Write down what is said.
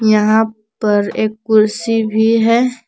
यहां पर एक कुर्सी भी है।